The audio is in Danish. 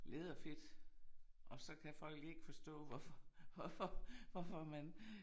Læderfedt og så kan folk ikke forstå hvorfor hvorfor hvorfor man